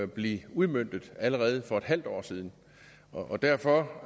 blevet udmøntet allerede for en halv år siden derfor